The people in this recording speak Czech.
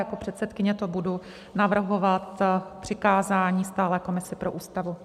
Jako předsedkyně to budu navrhovat k přikázání Stálé komisi pro Ústavu.